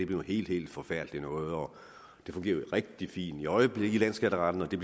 noget helt helt forfærdeligt noget og at det fungerer rigtig fint i øjeblikket i landsskatteretten og det